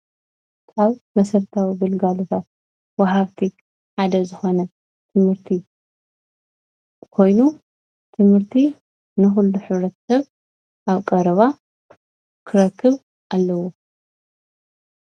ካብ መሰረታዊ ግልጋሎታት ወሃብቲ ሓደ ዝኾነ ትምህርቲ ኮይኑ ትምህርቲ ንኩሉ ሕብረተሰብ ኣብ ቀረባ ክረክብ ኣለዎ።